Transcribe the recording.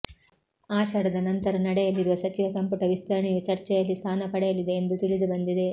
ಆಷಾಢದ ನಂತರ ನಡೆಯಲಿ ರುವ ಸಚಿವ ಸಂಪುಟ ವಿಸ್ತರಣೆಯೂ ಚರ್ಚೆಯಲ್ಲಿ ಸ್ಥಾನ ಪಡೆಯಲಿದೆ ಎಂದು ತಿಳಿದುಬಂದಿದೆ